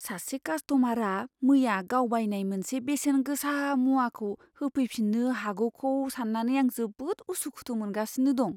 सासे कास्ट'मारआ मैया गाव बायनाय मोनसे बेसेन गोसा मुवाखौ होफैफिन्नो हागौखौ सान्नानै आं जोबोद उसु खुथु मोनगासिनो दं।